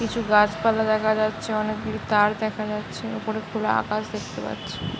কিছু গাছ পালা দেখা যাচ্ছে অনেক গুলি তার দেখা যাচ্ছ ওপরে খোলা আকাশ দেখতে পাচ্ছি ।